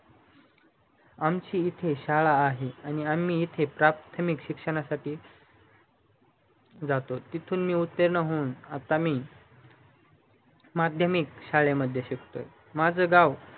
आमची इथे शाळा आहे आणि आम्ही इथे प्राथमिक शिक्षणासाठी जातो चांगली माध्यमिक शाळेमध्ये शिकतो माझ गाव